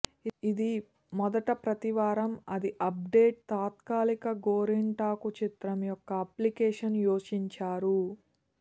ఇది మొదట ప్రతి వారం అది అప్డేట్ తాత్కాలిక గోరింటాకు చిత్రం యొక్క అప్లికేషన్ యోచించారు